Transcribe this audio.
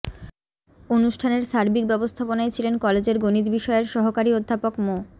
অনুষ্ঠানের সার্বিক ব্যবস্থাপনায় ছিলেন কলেজের গণিত বিষয়ের সহকারী অধ্যাপক মো